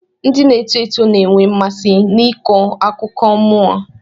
Ndị na-eto eto ga-enwe mmasị n'ịkọ akụkọ nmụọ.